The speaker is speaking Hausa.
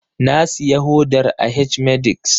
Na siya hodar a H-medix